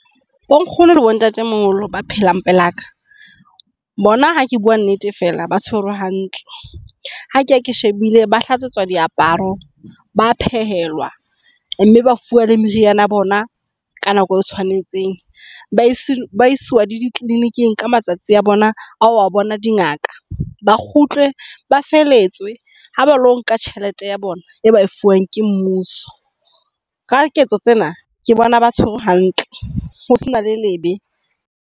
Bo nkgono lebo ntatemoholo ba phelang pelaka bona ha ke bua nnete fela ba tshwerwe hantle. Ha keya ke shebile ba hlatawetswa diaparo, ba phehelwa mme ba fuwa le meriana ya bona ka nako e tshwanetseng. Ba isiwa le dikliniking ka matsatsi a bona a ho a bona dingaka. Ba kgutle ba felehetswe ha ba lo nka tjhelete ya bona e ba e fuwang ke mmuso. Ka diketso tsena ke bona ba tshwerwe hantle ho se na le lebe.